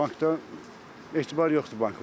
Bankda etibar yoxdur banklara.